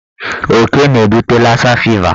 Oke na-ebute lasa fiva.